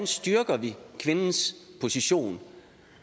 styrker kvindens position